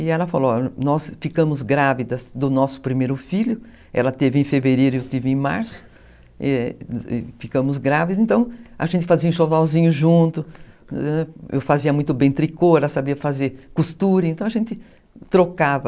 E ela falou, nós ficamos grávidas do nosso primeiro filho, ela teve em fevereiro, eu tive em março, ficamos grávidas, então a gente fazia um enxovalzinho junto, eu fazia muito bem tricô, ela sabia fazer costura, então a gente trocava